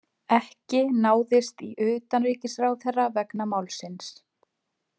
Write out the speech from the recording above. Ekki náðist í utanríkisráðherra vegna málsins